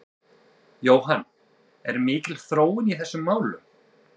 Jóhann, er mikil þróun í þessum málum?